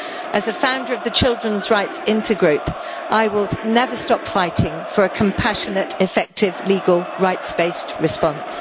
As a founder of the Children's Rights Intergroup I will never stop fighting for a compassionate, effective, legal, rights based response.